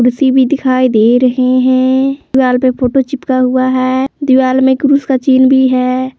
दिखाई दे रहे है दीवार पे फोटो चिपका हुआ है दीवार में क्रास का चिन्ह भी है।